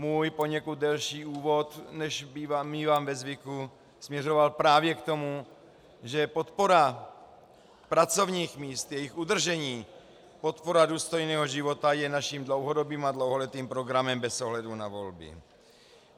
Můj poněkud delší úvod, než mívám ve zvyku, směřoval právě k tomu, že podpora pracovních míst, jejich udržení, podpora důstojného života je naším dlouhodobým a dlouholetým programem bez ohledu na volby.